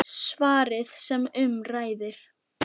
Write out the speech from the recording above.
Svarið sem um ræðir